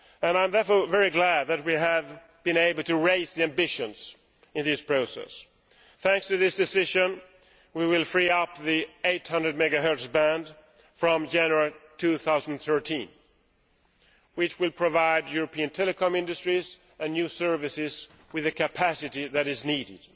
I am therefore very glad that we have been able to raise our ambitions in this process. Thanks to this decision we will free up the 800 MHz band from January 2013, which will provide European telecoms industries and new services with the capacity which is needed.